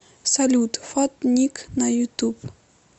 салют фат ник на ютуб